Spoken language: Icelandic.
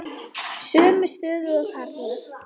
Sömu stöðu og karlar.